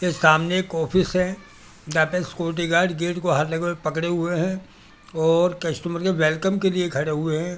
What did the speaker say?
के सामने एक ऑफिस है जहाँ पे सिक्यूरिटी गार्ड गेट पे हाथ लगाए पकड़े हुए हुए है और कस्टूमर के वेलकम के लिए खड़े हुए है ।